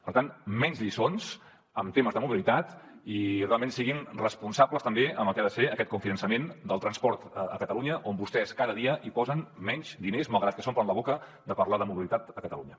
per tant menys lliçons en temes de mobilitat i realment siguin responsables també en el que ha de ser aquest cofinançament del transport a catalunya on vostès cada dia posen menys diners malgrat que s’omplen la boca de parlar de mobilitat a catalunya